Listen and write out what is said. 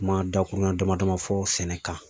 Kuma dakuruɲɛ damadama fɔ sɛnɛ kan